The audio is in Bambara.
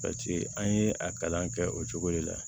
an ye a kalan kɛ o cogo de la